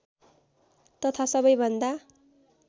तथा सबैभन्दा